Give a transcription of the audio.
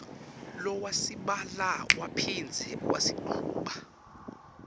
lowasibhala waphindze wasichuba